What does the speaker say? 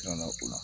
Kila la o la